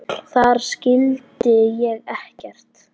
Þar skildi ég ekkert.